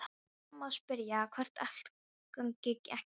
Það er mamma að spyrja hvort allt gangi ekki vel.